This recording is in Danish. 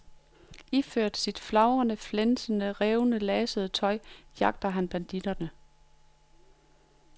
Iført sit flagrende, flænsede, revnede og lasede tøj jagter han banditterne.